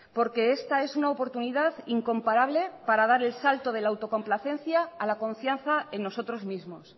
porque esta es una oportunidad incomparable para dar el salto de la autocomplacencia a la confianza en nosotros mismos